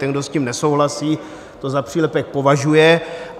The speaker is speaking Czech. Ten, kdo s tím nesouhlasí, to za přílepek považuje.